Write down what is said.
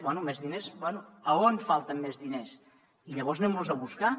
bé més diners bé a on falten més diners i llavors anem los a buscar